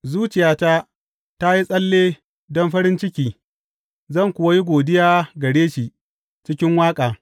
Zuciyata ta yi tsalle don farin ciki zan kuwa yi godiya gare shi cikin waƙa.